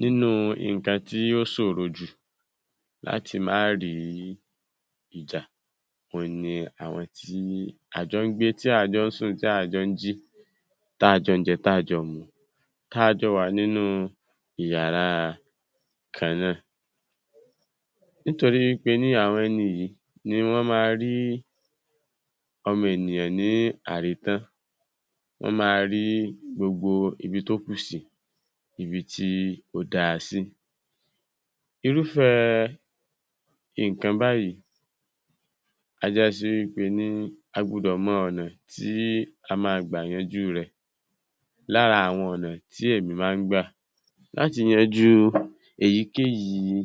Nínú nǹkan tí ó ṣòro jù láti má rí ìjà, òun ni àwọn tí a jò ń gbé, tí à ń jọ ń sùn, tí à ń jọ ń jí, tá a jọ ń jẹ, táa jọ ń mu. Káa jọ wà nínú ìyára kan náà. Nítorí wí pé ní àwọn ẹni yìí, ni wọ́n ma rí àwọn ọmọ ènìyàn ní àrítàn, wọ́n ma rí gbogbo ibi tó kù sí, ibi tí ó dáa sí. Irúfẹ́ nǹkan báyìí a jásí wí pé ní a gbufọ̀ mọ ọ̀nà tí a máa gbà yanjú rẹ̀. Lára àwọn ọ̀nà tí èmi máa ń gbà láti yanjú èyíkéyìí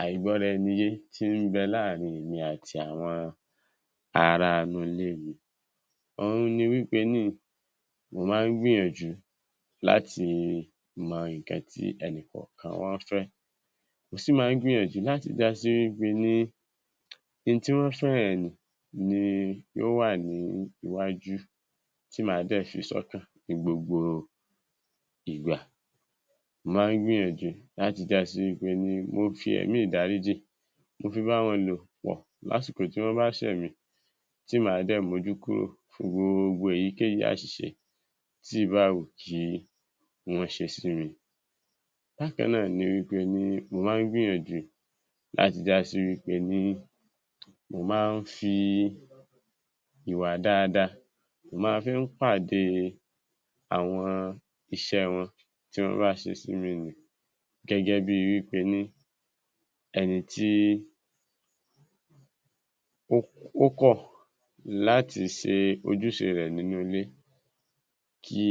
àìgbọ́-ra-ẹni-yé tí ń bẹ láàrin èmi àti àwọn ará ‘nú ilé mi, òun ni wí pé ní mo máa ń gbìyànjú láti mọ nǹkan tí ẹnì kọ̀ọ̀kan wọn ń fẹ́, mo sì máa ń gbìyànjú láti dá sí pé ní n tí wọ́n fẹ́ yẹn nì ni yóò wà ní iwájú tí màá dẹ̀ fi sọ́kàn ní gbogbo ìgbà. Mo máa ń gbìyànjú láti jásí wí pé ní mo fi ẹ̀mí ìdáríjì mo fi bá wọn lò pọ̀ lásìkò tí wọ́n bá ṣẹ̀ mí tí màá dẹ̀ mójú kúrò fún gbogbo èyíkéyìí àṣìṣe tí ìbáà wù kí wọ́n ṣe sí mi. Bákan náà ni wí pé ní mo máa ń gbìyànjú láti jásí wí pé ní mo máa ń fi ìwà dáadáa mo máa ń fi pàdé àwọn iṣẹ́ wọn tí wọ́n bá ṣe sí mi ǹnì gẹ́gẹ́ bíi wí pé ní ẹni tí ó kọ̀ láti ṣe ojúṣe rẹ̀ nínú ilé kí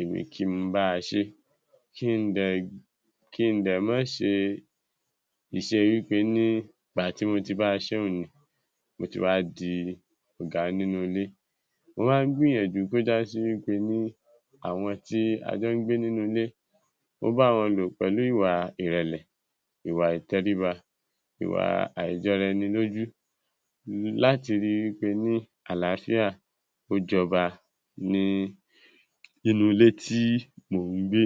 èmi kí n báa ṣeé, kí n dẹ̀ mọ́ ṣe ìṣe wí pé ní ìgbà tí mo ti báa ṣeé n nì, mo ti wá di ọ̀gá nínú ilé. Mo máa ń gbìyànjú kó jásí wí pé ní àwọn tí a jọ ń gbé nínú ilé, mo bá wọn lò pẹ̀lú ìwà ìrẹ̀lẹ̀, ìwà ìtẹríba, ìwà àìjọra-ẹni-lójú láti ríi wí pé ní àlàáfíà ó jọba ní inú ilé tí mò ń gbé.